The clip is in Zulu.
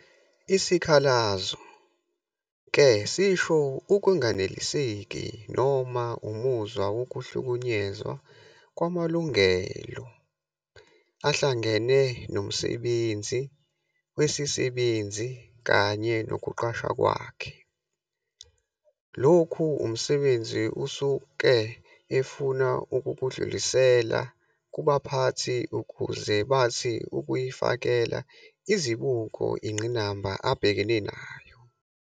Isikhalazo-ke sisho ukunganeliseki noma umuzwa wokuhlukunyezwa kwamalungelo ahlangene nomsebenzi wesisebenzi kanye nokuqashwa kwakhe. Lokhu umsebenzi usuke efuna ukukudlulisela kubaphathi ukuze bathi ukuyifakela izibuko inqinamba abhekene nayo.